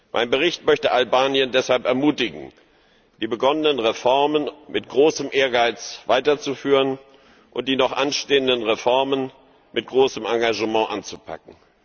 Mein Bericht möchte Albanien deshalb ermutigen, die begonnenen Reformen mit großem Ehrgeiz weiterzuführen und die noch anstehenden Reformen mit großem Engagement anzupacken.